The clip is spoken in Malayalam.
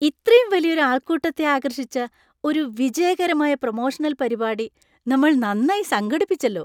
ഇത്രയും വലിയൊരു ആൾക്കൂട്ടത്തെ ആകർഷിച്ച ഒരു വിജയകരമായ പ്രമോഷണൽ പരിപാടി നമ്മൾ നന്നായി സംഘടിപ്പിച്ചെല്ലോ.